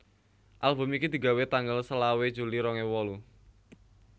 Album iki digawé tanggal selawe juli rong ewu wolu